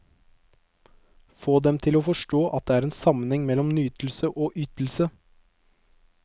Få dem til å forstå at det er en sammenheng mellom nytelse og ytelse.